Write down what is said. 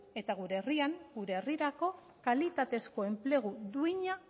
eta gure herrian gure herrirako kalitatezko enplegu duina